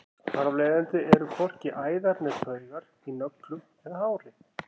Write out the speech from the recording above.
þar af leiðandi eru hvorki æðar né taugar í nöglum eða hári